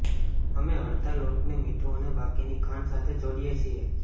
અમે અડધા લોટને મીઠું અને બાકીની ખાંડ સાથે જોડીએ છીએ